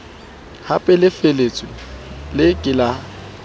hapelefatshe le ke ke la